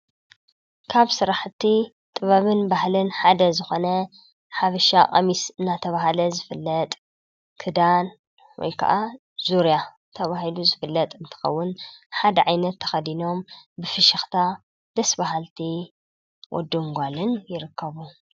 ካብ ስራሕቲ ጥበብን ባህልን ሓደ ዝኾነ ሓበሻ ቀሚስ እናተባህለ ዝፍለጥ ክዳን ወይ ካዓ ዙርያ ተባሂሉ ዝፍለጥ እንትኸውን ሓደ ዓይነት ተኸዲኖም ብፍሽኽታ ደስ ባሃልቲ ወድን ጓልን ይርከቡ።